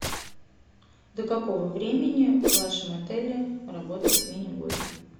до какого времени в вашем отеле работает мини гольф